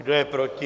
Kdo je proti?